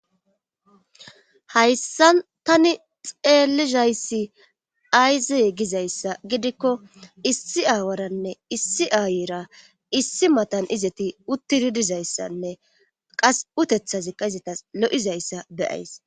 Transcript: Hayssa tani xeelizayssi ayzee gizayssa gidikko issi aawaranne issi aayera issi matan izati uttidi dizayssanne qas utethazikka izatas lo7izayssa beyays.